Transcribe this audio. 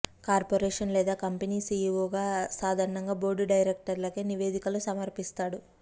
corporation లేదా company CEO సాధారణంగా board డైరెక్టర్లకు నివేదికలు సమర్పిస్తాడు